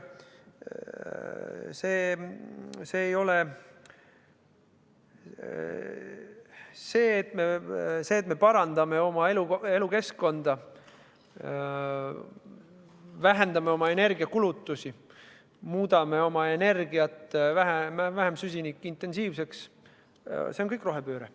See, et me parandame oma elukeskkonda, vähendame oma energiakulutusi, muudame energiat vähem süsinikuintensiivseks – see kõik on rohepööre.